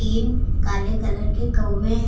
तीन काले कलर के कउए है।